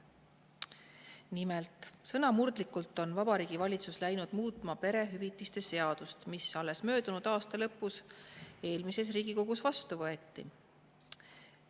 Nimelt, sõnamurdlikult on Vabariigi Valitsus läinud muutma perehüvitiste seadust, mis alles möödunud aasta lõpus eelmises Riigikogus vastu võeti.